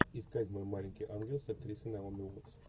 искать мой маленький ангел с актрисой наоми уоттс